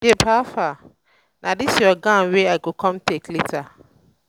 babe howfar? na dis your gown wey i i go come take later